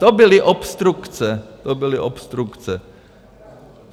To byly obstrukce, to byly obstrukce.